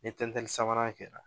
Ni tɛntɛnni sabanan kɛra